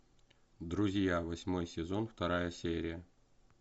друзья восьмой сезон вторая серия